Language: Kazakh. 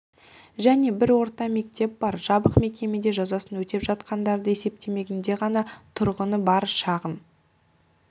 және бір орта мектеп бар жабық мекемеде жазасын өтеп жатқандарды есептемегенде ғана тұрғыны бар шағын